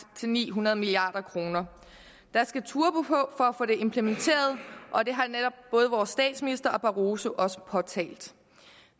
til ni hundrede milliard kroner der skal turbo på for at få det implementeret og det har netop både vores statsminister og barroso også påtalt